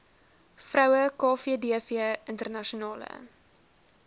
vroue kvdv internasionale